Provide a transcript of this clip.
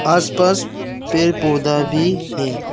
आस पास पेड़ पौधा भी है।